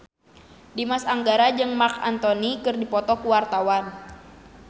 Dimas Anggara jeung Marc Anthony keur dipoto ku wartawan